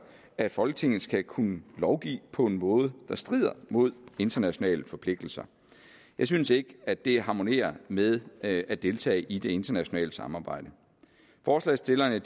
at folketinget skal kunne lovgive på en måde der strider mod internationale forpligtelser jeg synes ikke at det harmonerer med at at deltage i det internationale samarbejde forslagsstillerne